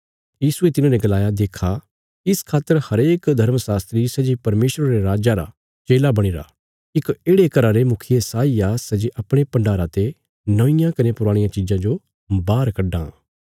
यीशुये तिन्हांने गलाया देक्खा इस खातर हरेक यहूदी शास्त्री सै जे परमेशरा रे राज्जा रा चेला बणीरा इक येढ़े घरा रे मुखिये साई आ सै जे अपणे भण्डारा ते नौंईयां कने पुराणियां चिज़ां जो बाहर कड्डां